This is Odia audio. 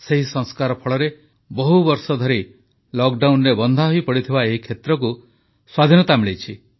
ସେହି ସଂସ୍କାର ଫଳରେ ବହୁବର୍ଷ ଧରି ଲକଡାଉନରେ ବନ୍ଧା ହୋଇପଡ଼ିଥିବା ଏହି କ୍ଷେତ୍ରକୁ ସ୍ୱାଧୀନତା ମିଳିଲା